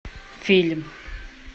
фильм